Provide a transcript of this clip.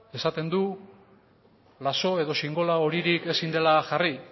esan du lazo edo sinbolo horirik ezin dela jarri